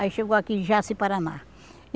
Aí chegou aqui em Jaci-Paraná,